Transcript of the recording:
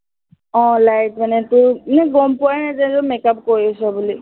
আহ light মানে তোৰ, মানে গম পোৱাই নাযায় যে make up কৰিছ বুলি